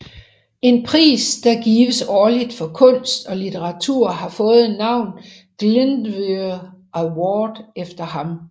En pris der gives årligt for kunst og litteratur har fået navnet Glyndwr Award efter ham